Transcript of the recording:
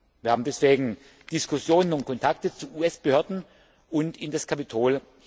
Wir haben deswegen Diskussionen und Kontakte zu US Behörden und zum Kapitol.